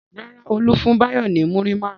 Rárá, Olú fún Báyọ̀ ní múrí márùn-ún.